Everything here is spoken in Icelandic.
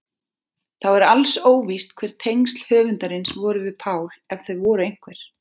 Þá er alls óvíst hver tengsl höfundarins voru við Pál ef þau voru einhver.